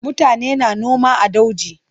Mutane na noma a dauji.